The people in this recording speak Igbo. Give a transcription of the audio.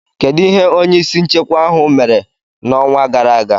Kedu ihe onye isi nchekwa ahụ mere n'ọnwa gara aga?